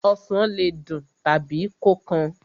Osàn le dùn tàbí kó kan.